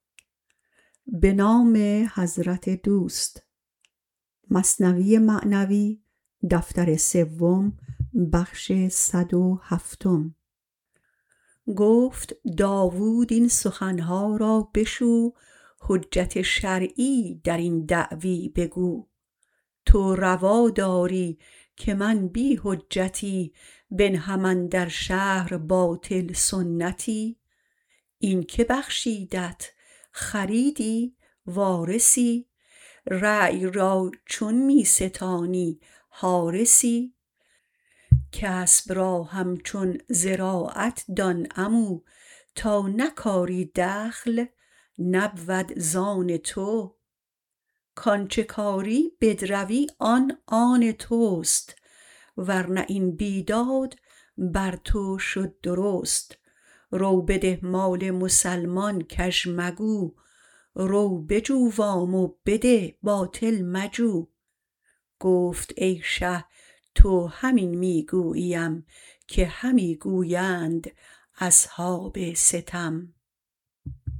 گفت داود این سخنها را بشو حجت شرعی درین دعوی بگو تو روا داری که من بی حجتی بنهم اندر شهر باطل سنتی این کی بخشیدت خریدی وارثی ریع را چون می ستانی حارثی کسب را همچون زراعت دان عمو تا نکاری دخل نبود آن تو آنچ کاری بدروی آن آن تست ورنه این بی داد بر تو شد درست رو بده مال مسلمان کژ مگو رو بجو وام و بده باطل مجو گفت ای شه تو همین می گوییم که همی گویند اصحاب ستم